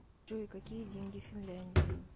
джой какие деньги в финляндии